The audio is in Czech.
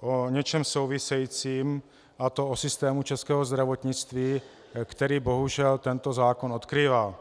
o něčem souvisejícím, a to o systému českého zdravotnictví, který bohužel tento zákon odkrývá.